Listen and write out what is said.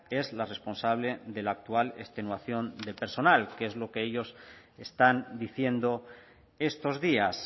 es la responsable de la actual extenuación del personal que es lo que ellos están diciendo estos días